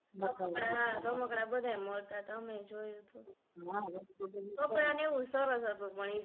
હા રમકડા બધા એ મળતા તા અમે એ જોયુ તુ કપડા ને એવુ સરસ હતુ